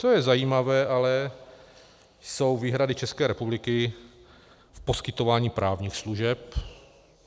Co je zajímavé ale, jsou výhrady České republiky k poskytování právních služeb.